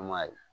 Kuma ye